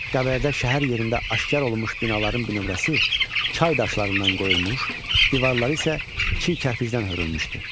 Qəbələdə şəhər yerində aşkar olunmuş binaların bir nömrəsi çay daşlarından qoyulmuş, divarları isə çiy kərpiçdən hörülmüşdü.